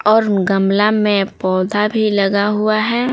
और गमला में पौधा भी लगा हुआ है।